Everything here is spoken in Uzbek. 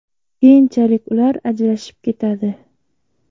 Keyinchalik ular ajrashib ketadi.